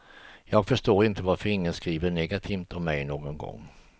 Jag förstår inte varför ingen skriver negativt om mej någon gång.